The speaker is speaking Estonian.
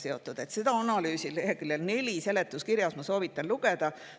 Ma soovitan lugeda analüüsi seletuskirja leheküljel neli.